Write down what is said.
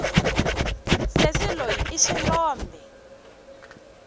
sesi loyi i xilombe